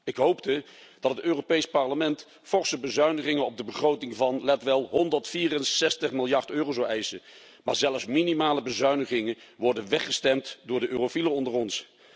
Ik hoopte dat het Europees Parlement forse bezuinigingen op de begroting van let wel 164 miljard euro zou eisen, maar zelfs minimale bezuinigingen worden weggestemd door de Eurofielen onder ons.